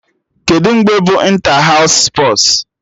Kedụ mgbe bụ ịnta haụs spọs?